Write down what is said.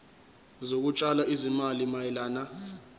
zokutshala izimali mayelana